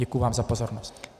Děkuji vám za pozornost.